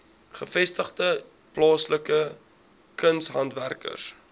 gevestigde plaaslike kunshandwerkers